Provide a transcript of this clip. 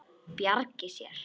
Bjargi sér.